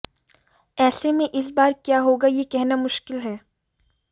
ऐसे में इस बार क्या होगा यह कहना मुश्किल है